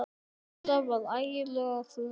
Lilla var ægilega þreytt.